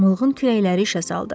Mığqın kürəkləri işə saldı.